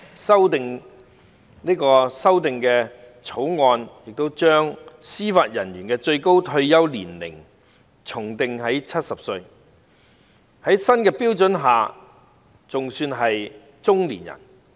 《條例草案》的建議修訂亦將司法人員的最高退休年齡訂為70歲，這在新的標準下尚算是中年人。